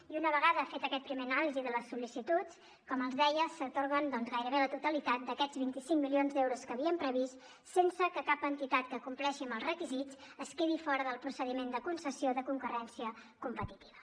i una vegada feta aquesta primera anàlisi de les sol·licituds com els deia s’atorguen gairebé la totalitat d’aquests vint cinc milions d’euros que havíem previst sense que cap entitat que compleixi els requisits quedi fora del procediment de concessió de concurrència competitiva